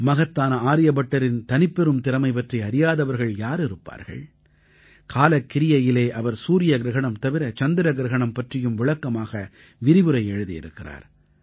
மகத்தான ஆர்யபட்டரின் தனிப்பெரும் திறமை பற்றி அறியாதவர்கள் யார் இருப்பார்கள் காலக் கிரியையிலே அவர் சூரிய கிரஹணம் தவிர சந்திர கிரஹணம் பற்றியும் விளக்கமாக விரிவுரை எழுதியிருக்கிறார்